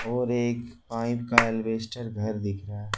और एक पाइप का एलिवेस्टर घर दिख रहा--